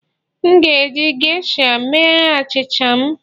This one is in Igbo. M ga-eji geisha mee achịcha m